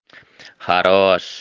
хорош